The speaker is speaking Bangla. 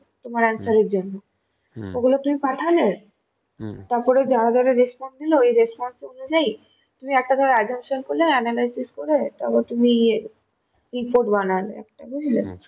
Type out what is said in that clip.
তোমার answer এর জন্যে ওগুলো তুমি পাঠালে তারপর যারা যারা response দিল সেই response অনুজাই তুমি একটা ধরো assumption করলে analysis করে একটা তুমি ইয়ে report বানালে একটা বুঝলে?